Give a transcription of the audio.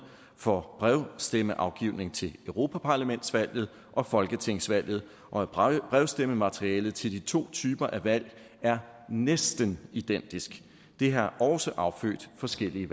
for brevstemmeafgivning til europaparlamentsvalget og folketingsvalget og at brevstemmematerialet til de to typer af valg er næsten identisk det har også affødt forskellige